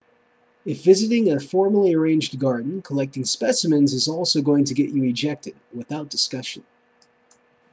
if visiting a formally arranged garden collecting specimens is also going to get you ejected without discussion